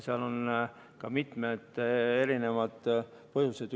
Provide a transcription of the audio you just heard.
Seal oli mitmeid põhjuseid.